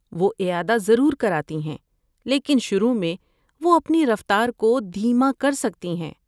وہ اعادہ ضرور کراتی ہیں لیکن شروع میں وہ اپنی رفتار کو دھیما کرسکتی ہیں۔